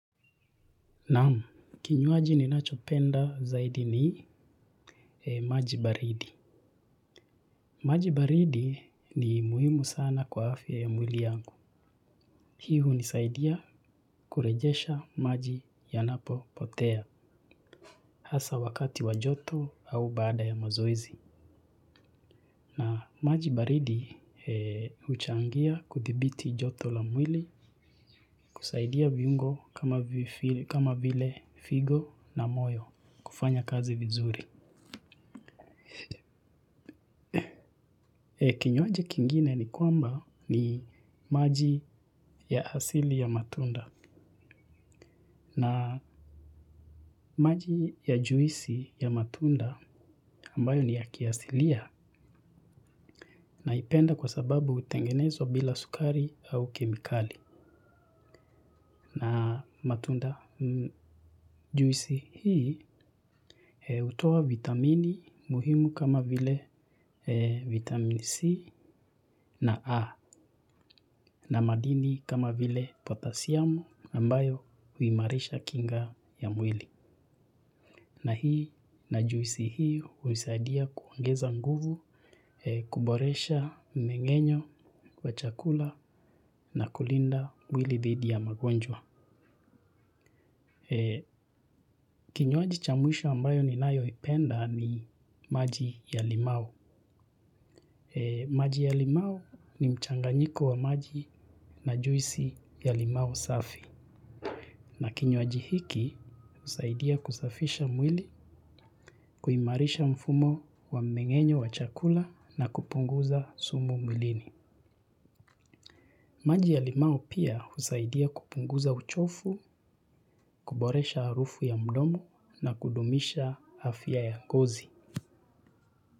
Naam, kinywaji ninachopenda zaidi ni, majibaridi. Majibaridi, ni muhimu sana kwa afya ya mwili yangu. Hii hunisaidia, kurejesha maji yanapo potea. Hasa wakati wajoto, au baada ya mazoezi. Na, majibaridi huchangia kudhibiti joto la mwili, kusaidia viungo kama vile figo na moyo kufanya kazi vizuri. Kinywaji kingine ni kwamba, ni maji ya asili ya matunda na maji ya juisi ya matunda, ambayo ni ya kiasilia. Naipenda kwa sababu hutengenezwa bila sukari, au kemikali. Na, matunda juisi hii, hutoa vitamini muhimu kama vile vitamini C na A na madini kama vile potassium, ambayo huimarisha kinga ya mwili. Na hii na juisi hii huisaidia kuongeza nguvu, kuboresha mmengenyo, wachakula na kulinda mwili dhidi ya magonjwa. Kinywaji cha mwisho ambayo ni nayo ipenda, ni maji ya limau. Maji ya limau ni mchanganyiko wa maji, na juisi ya limau safi. Na kinywaji hiki, husaidia kusafisha mwili, kuimarisha mfumo wa mmengenyo wa chakula na kupunguza sumu mwilini. Maji ya limau, pia, husaidia kupunguza uchofu, kuboresha arufu ya mdomo na kudumisha afya ya ngozi.